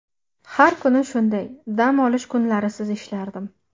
Har kuni shunday: dam olish kunlarisiz ishlardim.